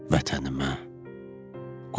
Vətənimə qurban olum.